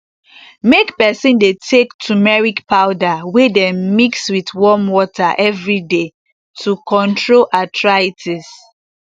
make peson dey take tumeric powder wey dem mix with warm water everyday to control arthritis